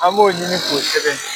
An b'o ɲini k'o sɛbɛn.